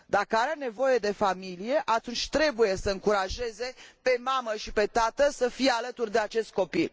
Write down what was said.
Daca are nevoie de familie atunci trebuie să încurajeze pe mamă și pe tată să fie alături de acest copil.